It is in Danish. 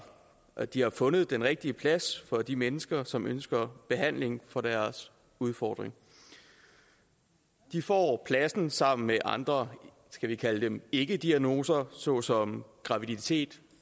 at de har fundet den rigtige plads for de mennesker som ønsker behandling for deres udfordring de får pladsen sammen med andre skal vi kalde dem ikkediagnoser såsom graviditet